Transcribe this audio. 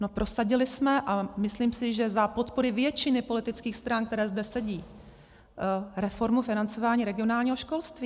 No prosadili jsme, a myslím si, že za podpory většiny politických stran, které zde sedí, reformu financování regionálního školství.